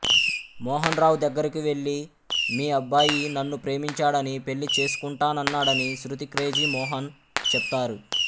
మోహన్ రావు దగ్గరకి వెళ్ళి మీ అబ్బాయి నన్ను ప్రేమించాడని పెళ్ళి చేసుకుంటానన్నాడని శృతి క్రేజీ మోహన్ చెప్తారు